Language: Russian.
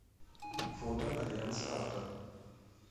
фото альянс авто